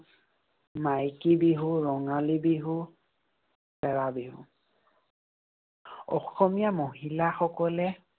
মাইকী বিহু, ৰঙালী বিহু, এৰা বিহু। অসমীয়া মহিলাসকলে